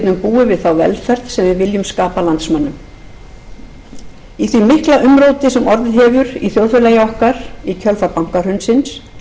við þá velferð sem við viljum skapa landsmönnum í því mikla umróti sem orðið hefur í þjóðfélagi okkar í kjölfar bankahrunsins